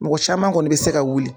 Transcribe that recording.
Mɔgɔ saman kɔni bɛ se ka wuli.